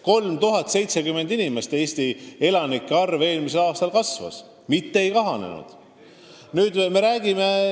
3070 inimese võrra Eesti elanike arv eelmisel aastal kasvas, mitte ei kahanenud.